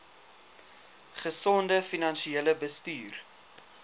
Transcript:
gesonde finansiële bestuur